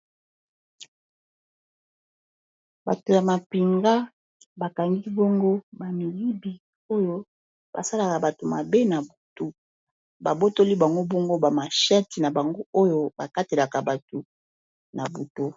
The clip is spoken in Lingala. Bato ya mapinga bakangi bongo bamiyibi oyo basalaka bato mabe na butu babotoli bango bongo bamasheti na bango oyo bakatelaka bato na bato.